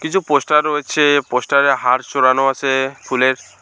কিছু পোস্টার রয়েছে পোস্টারে হার চড়ানো আছে ফুলের।